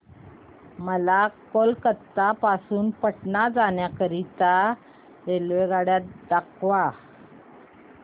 मला कोलकता पासून पटणा जाण्या करीता रेल्वेगाड्या दाखवा